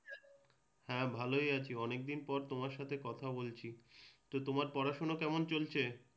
হ্যাঁ ভালই আছি। অনেকদিন পর তোমার সাথে কথা বলছি। তোমার পড়াশুনা কেমন চলছে?